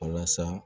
Walasa